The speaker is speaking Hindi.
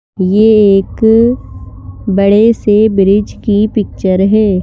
ये एक बड़े से ब्रिज की पिक्चर है।